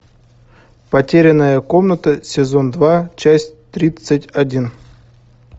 потерянная комната сезон два часть тридцать один